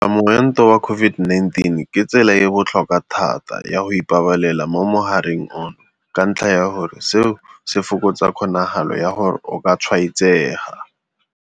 Go tlhabelwa moento wa COVID-19 ke tsela e e botlhokwa thata ya go ipabalela mo mogareng ono ka ntlha ya gore seo se fokotsa kgonagalo ya gore o ka tshwaetsega.